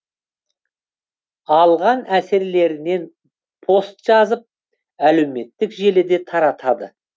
алған әсерлерінен пост жазып әлеуметтік желіде таратады